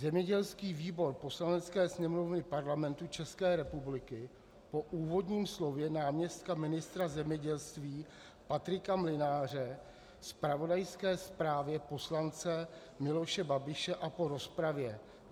Zemědělský výbor Poslanecké sněmovny Parlamentu České republiky po úvodním slově náměstka ministra zemědělství Patrika Mlynáře, zpravodajské zprávě poslance Miloše Babiše a po rozpravě: